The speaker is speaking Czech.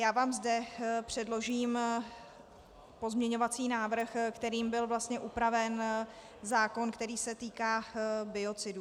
Já vám zde předložím pozměňovací návrh, kterým byl vlastně upraven zákon, který se týká biocidů.